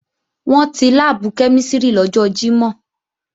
Wọ́n ti láàbù kẹ́mísìrì lọ́jọ́ Jímọ̀